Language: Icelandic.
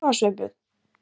Veistu hvað, Sveinbjörn?